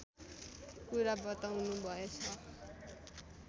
कुरा बताउनुभएछ